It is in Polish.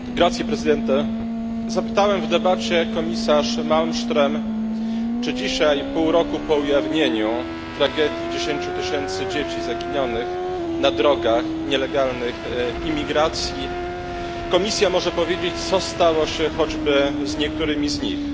Panie Przewodniczący! Zapytałem w debacie komisarz Malmström, czy dzisiaj pół roku po ujawnieniu tragedii 10 tysięcy dzieci zaginionych na drogach nielegalnych imigracji Komisja może powiedzieć, co stało się choćby z niektórymi z nich.